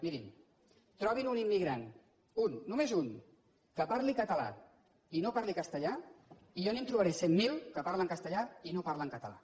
mirin trobin un im·migrant un només un que parli català i no parli cas·tellà i jo li’n trobaré cent mil que parlen castellà i no parlen català